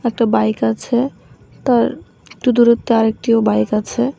একটা বাইক আছে তার একটু দূরত্বে আরেকটিও বাইক আছে।